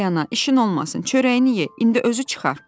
Ay ana, işin olmasın, çörəyini ye, indi özü çıxar.